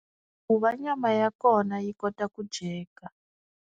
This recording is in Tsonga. Ku va nyama ya kona yi kota ku dyeka.